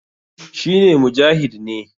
shi ne Mujahid ne